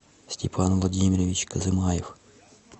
степан владимирович козымаев